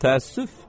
Təəssüf!